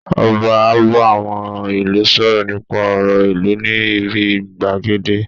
Ọba á bá àwọn ìlú sọ̀rọ̀ nípa ọ̀rọ̀ ìlú ní ibi gbàgede